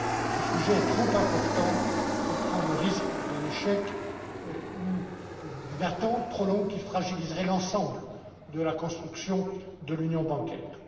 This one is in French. un accord. Ce sujet est trop important pour prendre le risque d'un échec ou d'une attente trop longue qui fragiliserait l'ensemble de la construction de l'union